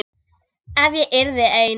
Ef ég yrði ein.